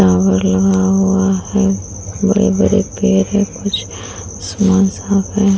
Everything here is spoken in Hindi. टावर लगा हुआ है। बड़े बड़े पेड़ हैं। कुछ